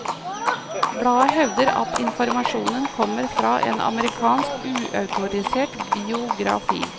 Bladet hevder at informasjonen kommer fra en amerikansk uautorisert biografi.